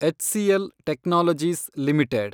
HCL technologies limited